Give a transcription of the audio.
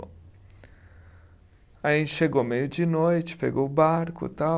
Aí a gente chegou meio de noite, pegou o barco tal.